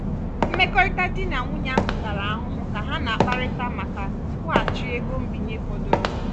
mmekọrịta di na nwunye ahụ tara ahụhụ ka ha na-akparịta maka nkwụghachi ego mbinye fọdụrụ.